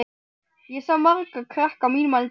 Ég sá marga krakka á mínum aldri þarna.